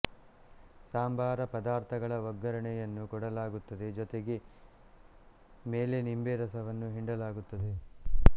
ಸಂಬಾರ ಪದಾರ್ಥಗಳ ಒಗ್ಗರಣೆಯನ್ನು ಕೊಡಲಾಗುತ್ತದೆ ಜೊತೆಗೆ ಮೇಲೆ ನಿಂಬೆರಸವನ್ನು ಹಿಂಡಲಾಗುತ್ತದೆ